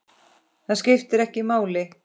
Það skiptir ekki máli.